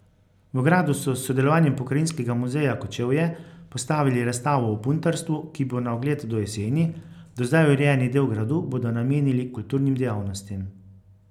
V gradu so s sodelovanjem Pokrajinskega muzeja Kočevje postavili razstavo o puntarstvu, ki bo na ogled do jeseni, do zdaj urejeni del gradu bodo namenili kulturnim dejavnostim.